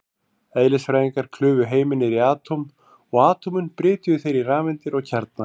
Eðlisfræðingar klufu heiminn niður í atóm, og atómin brytjuðu þeir í rafeindir og kjarna.